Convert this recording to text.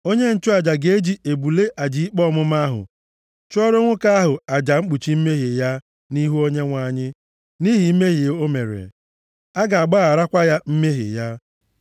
Onye nchụaja ga-eji ebule aja ikpe ọmụma ahụ chụọrọ nwoke ahụ aja mkpuchi mmehie ya nʼihu Onyenwe anyị, nʼihi mmehie o mere. A ga-agbaghakwara ya mmehie ya.